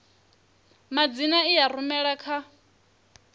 madzina i a rumela kha